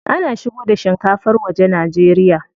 Ana shigo da shinkafar waje Najeriya.